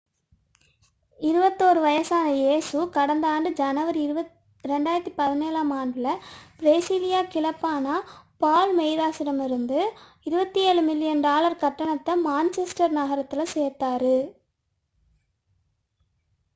21 வயதான இயேசு கடந்த ஆண்டு ஜனவரி 2017-ஆம் ஆண்டில் பிரேசிலிய கிளப்பான பால்மெய்ராஸிடமிருந்து 27 மில்லியன் டாலர் கட்டணத்தில் மான்செஸ்டர் நகரத்தில் சேர்ந்தார்